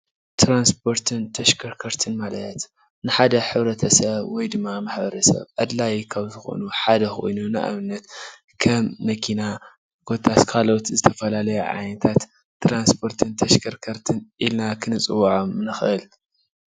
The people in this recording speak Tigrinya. ትራንስፖርትን ተሽከርከርትን ማለት ንሓደ ሕብረተሰብ ወይ ድማ ማሕበረሰብ ኣድላዪ ካብ ዝኾኑ ሓደ ኮይኑ ንኣብነት ከም መኪና ኮታስ ካልኦትን ዝተፈላለዩ ዓይነታት ትራንስፖርትን ተሽከርከርትን ኢልና ክንፅዉዖም ንኽእል ።